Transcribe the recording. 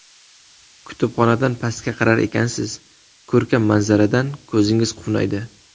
Kutubxonadan pastga qarar ekansiz, ko‘rkam manzaradan ko‘zingiz quvnaydi.